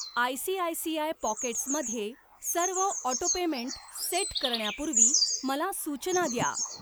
ICICI pockets मध्ये सर्व auto payment set करण्यापूर्वी मला सूचना द्या.